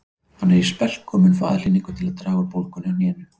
Hann er í spelku og mun fá aðhlynningu til að draga úr bólgunni á hnénu